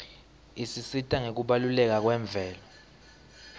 isisita ngekubaluleka kwemvelo